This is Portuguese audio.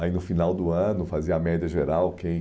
Aí, no final do ano, fazia a média geral quem